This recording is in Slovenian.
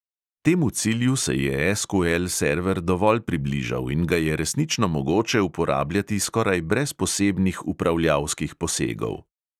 Temu cilju se je SQL server dovolj približal in ga je resnično mogoče uporabljati skoraj brez posebnih upravljalskih posegov.